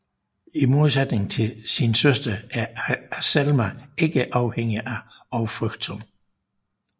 I modsætning til sin søster er Azelma ikke afhængig og frygtsom